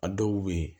A dɔw bɛ yen